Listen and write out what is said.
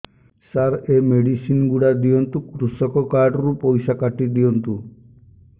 ଆଜ୍ଞା ଏ ମେଡିସିନ ଗୁଡା ଦିଅନ୍ତୁ କୃଷକ କାର୍ଡ ରୁ ପଇସା କାଟିଦିଅନ୍ତୁ